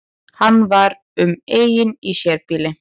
Hann var um eign í sérbýli